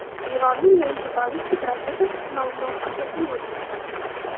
Eronning yangi ballistik raketasi sinovi muvaffaqiyatli o‘tdi.